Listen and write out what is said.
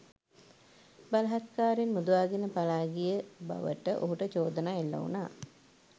බලහත්කාරයෙන් මුදවාගෙන පලා ගිය බවට ඔහුට චෝදනා එල්ල වුණා